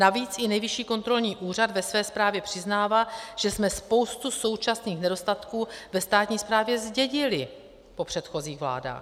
Navíc i Nejvyšší kontrolní úřad ve své zprávě přiznává, že jsme spoustu současných nedostatků ve státní správě zdědili po předchozích vládách.